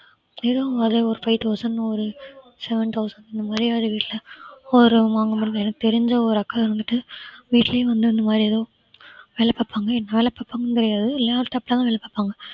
வெறும் ஒரே ஒரு five thousand ஒரு seven thousand இந்த மாதிரி எனக்கு தெரிஞ்ச ஒரு அக்கா இருந்துட்டு வீட்டலியே வந்து இந்தமாறி ஏதோ வேலை பார்ப்பாங்க என்ன வேலை பார்ப்பாங்கன்னு தெரியாது laptop லதான் வேலை பார்ப்பாங்க